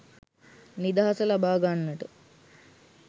නිදහස ලබා ගන්නට